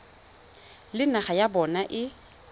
le naga ya bona e